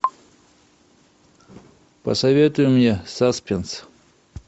посоветуй мне саспенс